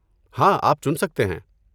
ہاں، آپ چن سکتے ہیں۔